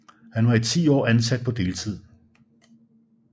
Han var i 10 år ansat på deltid